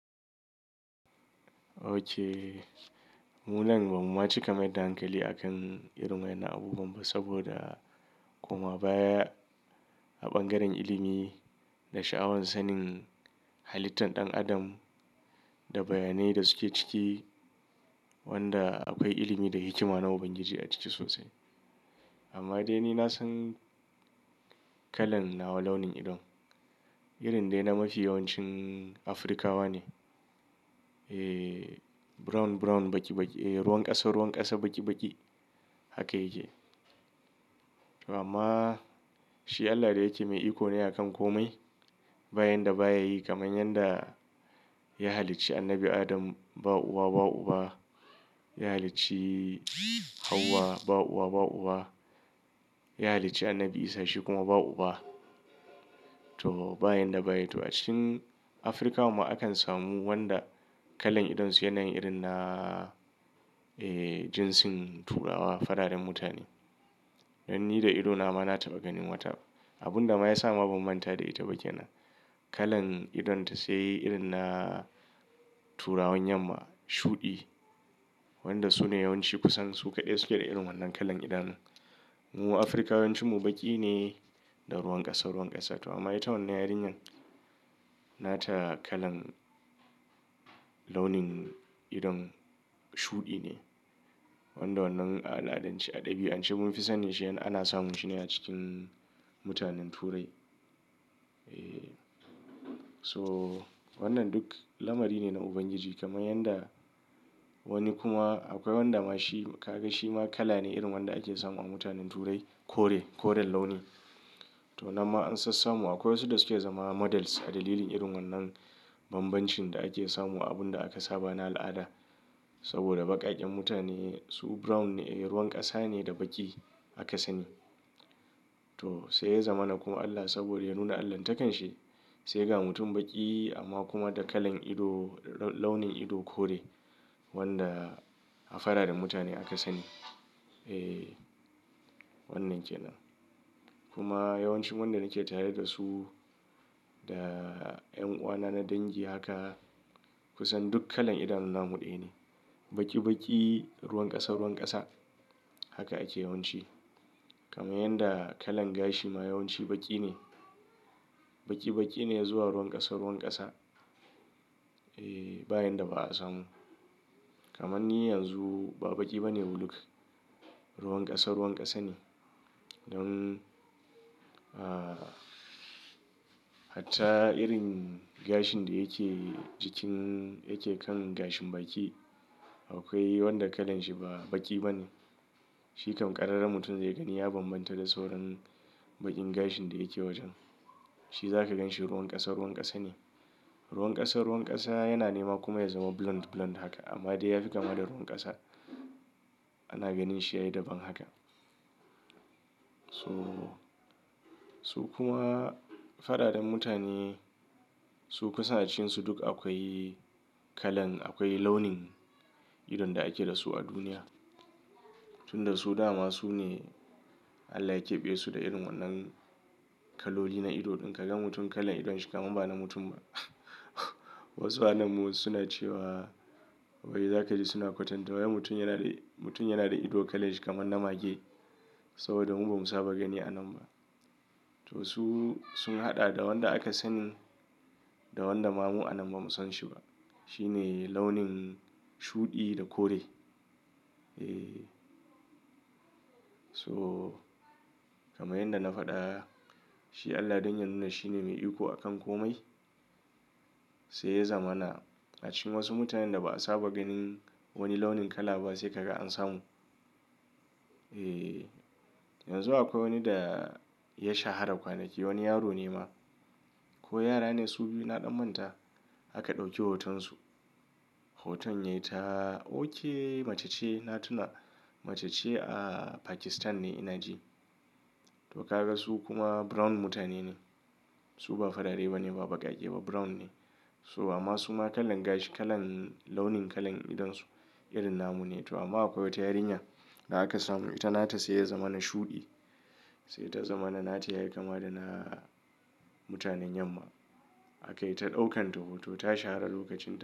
Ok mu nan ba mu ma cika mai da hankali akan irin wainnan abubuwan ba saboda koma baya a bangaren ilimi da sha'awan sanin halittan ɗan adam da bayanai da suke ciki wanda akwai ilimi da hikima na Ubangiji a ciki sosai. Amma dai ni na san kalan nawa launin idon irin dai na mafi yawancin Afrikawa ne. Ehhh brown brown baki baki, e ruwan ƙasa ruwan ƙasa baki baki haka yake. Amma shi Allah da yake mai iko ne akan komai ba yan da baya yi kamar yadda ya halicci Annabi Adam ba uwa ba uba, ya halicci Hauwa ba uwa ba uba, ya halicci Annabi Isa shi kuma ba uba. To ba yan da baya to a cikin Afirkawan ma akan samu wanda kalan idonsu yana yin irin na ehh jinsin turawa fararen mutane. Don ni da idona ma na taɓa ganin wata abun da ma ya sa ma ban manta da ita ba kenan. Kalan idonta sai irin na turawan Yamma shuɗi wanda su ne yawanci kusan su kaɗai suke da irin wannan kalan idanu. Mu Afirkawa yawancin mu baki ne da ruwan ƙasa ruwan ƙasa to amma ita wannan yarinyar nata kalan launin idon shuɗi ne wanda wannan al'adanci a ɗabi'ance mun fi sanin shi ana samun shi ne a cikin mutanen Turai. Eh to wannan duk lamari ne na Ubangiji kamar yanda wani kuma akwai wanda ma shi ka ga shi ma kala ne irin wanda ake samu a mutanen Turai kore koren launi. To nan ma an sassamu akwai wasu da suke zama models a dalilin irin wannan banbancin da ake samu abun da aka saba na al'ada. Saboda baƙaƙen mutane su brown ne ruwan ƙasa ne da baki aka sani. To sai ya zama na kuma Allah saboda ya nuna Allahntakansa sai ya ga mutum baki amma kuma da kalan ido launin ido kore wanda a fararen mutane aka sani. Eh wannan ke nan kuma yawancin wanda nake tare da su da yan uwana na dangi haka kusan duk kalan idanu namu ɗaya ne baki baki ruwan ƙasa ruwan ƙasa haka ake yawanci. Kamar yadda kalan gashi ma yawanci baki ne baki baki ne zuwa ruwan ƙasa ruwan ƙasa. E ba yan da ba a samu kamar ni yanzu ba baki bane huluk ruwan ƙasa ruwan ƙasa ne. Don ahh hatta irin gashin da yake jikin yake kan gashin baki akwai wanda kalanshi ba baki bane. Shi kam ƙararren mutum zai gani ya banbanta da sauran baƙin gashin da yake wajen. Shi za ka ganshi ruwan ƙasa ruwan ƙasa ne ruwan ƙasa ruwan ƙasa yana nema kuma ya zama blonde blonde haka amma dai ya fi kama da ruwan ƙasa. Ana ganin shi yayi daban haka. To su kuma fararen mutane su kusa acikinsu duk akwai kalan akwai launin idon da ake da su a duniya. Tun da su dama su ne Allah ya keɓe su da irin wannan kaloli na ido ɗin ka ga mutum kalan idonshi kaman ba na mutum ba. Wasu anan mu suna cewa wai za ka ji suna kwatanta wai mutum yana da mutum yana da ido kalanshi kamar na mage saboda mu ba mu saba gani anan ba. To su sun haɗa da wanda aka sani da wanda ma mu anan ba mu san shi ba. Shi ne launin shuɗi da kore. Eh to kamar yadda na faɗa shi Allah don ya nuna shi ne mai iko akan komai sai ya zama na a cikin wasu mutanen da ba a saba ganin wani launin kala ba sai ka ga an samu. E yanzu akwai wani da ya shahara kwanaki wani yaro ne ma ko yara ne su biyu na ɗan manta aka ɗauki hotonsu. Hoton yayi ta ok macece na tuna macece a Pakistan ne ina ji. To ka ga su kuma brown mutane ne. Su ba farare ba ne ba baƙaƙe ba brown ne. To amma suma kalan gashi kalan launin kalan idonsu irin na mu ne to amma akwai wata yarinya da aka samu ita nata sai ya zama na shuɗi sai ta zama na nata yayi kama da na mutanen Yamma aka yi ta ɗaukan ta hoto ta shahara lokacin.